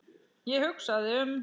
Ég hugsaði um